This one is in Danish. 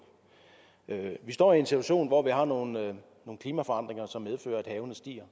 vi står i en situation hvor vi har nogle klimaforandringer som medfører at havene stiger